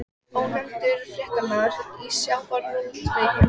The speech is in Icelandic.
Ónefndur fréttamaður: Í sjávarútvegi?